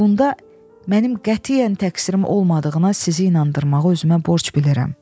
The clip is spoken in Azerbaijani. Bunda mənim qətiyyən təqsirimim olmadığına sizi inandırmağı özümə borc bilirəm.